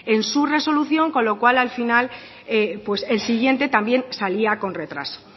en su resolución con lo cual al final el siguiente también salía con retraso